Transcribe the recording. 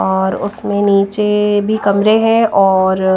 और उसमें नीचे भी कमरे है और--